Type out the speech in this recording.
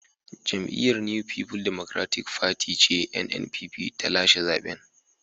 Jam’iyyar New People Democratic Party (NNPP) ce ta lashe zaben.